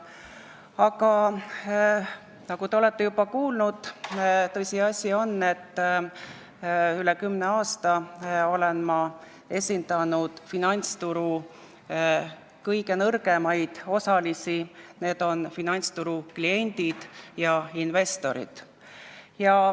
Aga nagu te olete juba kuulnud, tõsiasi on, et üle kümne aasta olen ma esindanud finantsturu kõige nõrgemaid osalisi, need on finantsturu kliendid ja investorid.